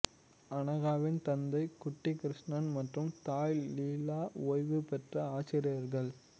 அனகாவின் தந்தை குட்டிகிருஷ்ணன் மற்றும் தாய் லீலா ஓய்வு பெற்ற ஆசிரியர்கள்